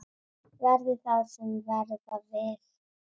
Verði það sem verða vill!